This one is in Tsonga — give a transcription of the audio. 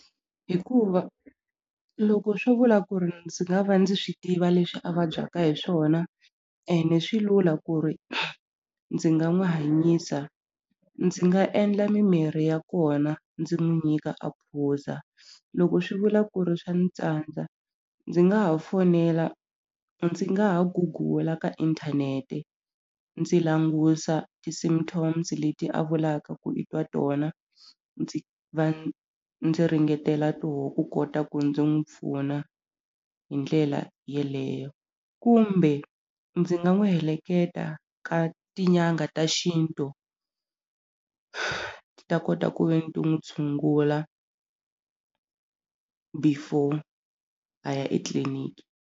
Hikuva loko swo vula ku ri ndzi nga va ndzi swi tiva leswi a vabyaka hi swona ene swi lula ku ri ndzi nga n'wi hanyisa ndzi nga endla mimirhi ya kona ndzi n'wi nyika a phuza loko swi vula ku ri swa ni tsandza ndzi nga ha fonela ndzi nga ha gugula ka inthanete ndzi langusa ti symptoms leti a vulaka ku i twa tona ndzi va ndzi ringetela toho ku kota ku ndzi n'wi pfuna hi ndlela yeleyo kumbe ndzi nga n'wi heleketa ka tin'anga ta xintu ti ta kota ku ve ni ti n'wi tshungula before a ya etliliniki.